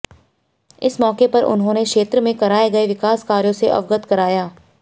इस मौके पर उन्होंने क्षेत्र में कराए गए विकास कार्यो से अवगत कराया